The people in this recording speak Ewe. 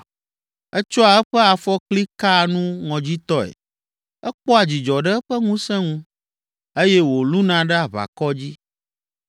Etsɔa eƒe afɔkli kaa nu ŋɔdzitɔe, ekpɔa dzidzɔ ɖe eƒe ŋusẽ ŋu eye wòlũna ɖe aʋakɔ dzi.